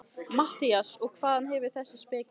MATTHÍAS: Og hvaðan hefurðu þessa speki?